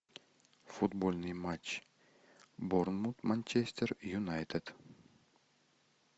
футбольный матч борнмут манчестер юнайтед